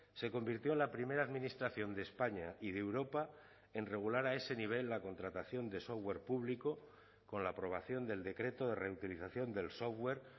se convirtió en la primera administración de españa y de europa en regular a ese nivel la contratación de software público con la aprobación del decreto de reutilización del software